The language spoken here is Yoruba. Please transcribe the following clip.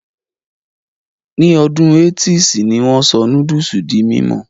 Ní ọdún 80's ni wón sọ núdùsì di mímọ̀